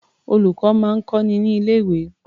Olùkọ́ máa ń kọ́ni ní ilé-̀wé.